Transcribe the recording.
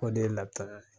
O de ye laputara ye